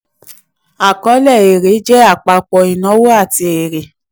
àkọọ́lẹ̀ èrè jẹ́ àpapọ̀ ìnáwó àti èrè.